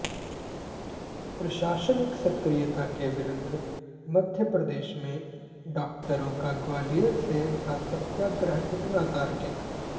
प्रशासनिक सक्रियता के विरुद्ध मप्र में डॉक्टरों का ग्वालियर से उठा सत्याग्रह कितना तार्किक